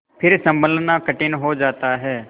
फिर सँभलना कठिन हो जाता है